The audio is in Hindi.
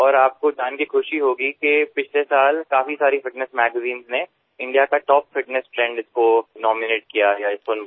और आपको जान कर ख़ुशी होगी कि पिछले साल काफी सारी फिटनेस मैगेजिन्स में इंडिया का टॉप फिटनेस ट्रेंड इसको नॉमिनेट किया गया है इस फुन को